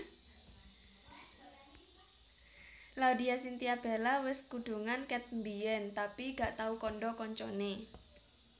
Laudya Cynthia Bella wes kudungan ket mbiyen tapi gak tau kandha kancane